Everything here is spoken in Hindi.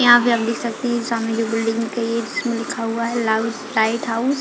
यहाँ पे हम देख सकते है ये सामने जो बिल्डिंग के इसमें लिखा हुआ है लाउ लाइट हाउस --